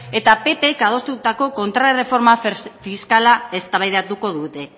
eta ppk adostutako kontrarreforma fiskala eztabaidatuko dute